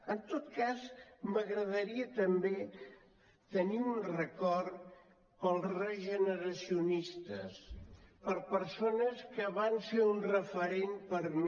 en tot cas m’agradaria també tenir un record per als regeneracionistes per persones que van ser un referent per mi